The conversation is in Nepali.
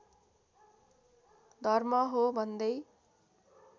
धर्म हो भन्दै